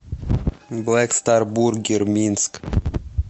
блэк стар бургер минск